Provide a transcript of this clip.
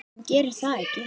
Hún gerir það ekki.